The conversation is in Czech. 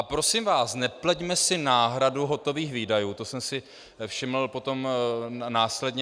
A prosím vás, nepleťme si náhradu hotových výdajů - to jsem si všiml potom následně.